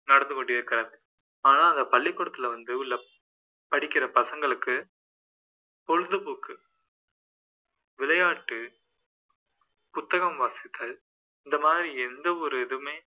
நடந்துகொண்டிருக்கிறது ஆனால் அந்த பள்ளிக்கூடத்துல வந்து படிக்கிற பசங்களுக்கு பொழுது போக்கு விளையாட்டு புத்தகம் வாசித்தல் இந்த மாதிரி எந்த ஒரு இதுமே